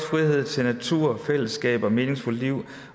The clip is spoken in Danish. frihed til natur fællesskab og meningsfulde liv